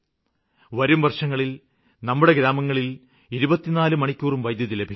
വരും വര്ഷങ്ങളില് നമ്മുടെ ഗ്രാമങ്ങളില് 24 മണിക്കൂറും വൈദ്യുതി ലഭിക്കും